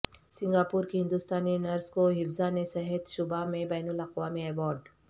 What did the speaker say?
Singapore کی ہندوستانی nurse کو حفظان صحت شعبہ میں بین الاقوامی ایوارڈ